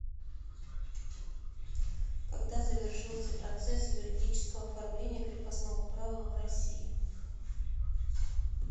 когда завершился процесс юридического оформления крепостного права в россии